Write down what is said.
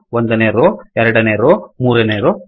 ಒಂದನೇ ರೋ ಎರಡನೇ ರೋ ಮೂರನೇ ರೋ